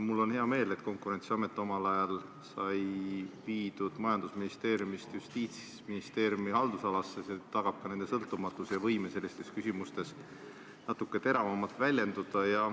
Mul on hea meel, et Konkurentsiamet omal ajal sai viidud majandusministeeriumi haldusalast Justiitsministeeriumi haldusalasse, see tagab nende sõltumatuse ja võime sellistes küsimustes natuke teravamalt väljenduda.